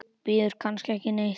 Bíður kannski ekki neitt?